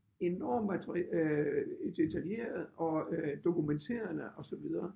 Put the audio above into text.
Enorm at øh detaljeret og øh dokumenterende og så videre